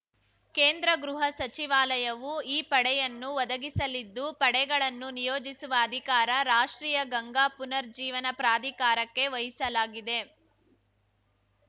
ಕೇಂದ್ರ ಗೃಹ ಸಚಿವಾಲಯವು ಈ ಪಡೆಯನ್ನು ಒದಗಿಸಲಿದ್ದು ಪಡೆಗಳನ್ನು ನಿಯೋಜಿಸುವ ಅಧಿಕಾರ ರಾಷ್ಟ್ರೀಯ ಗಂಗಾ ಪುನರ್ಜ್ಜೀವನ ಪ್ರಾಧಿಕಾರಕ್ಕೆ ವಹಿಸಲಾಗಿದೆ